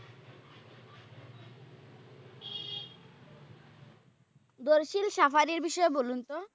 দইসিল safari বিষয়ে বলুন তো?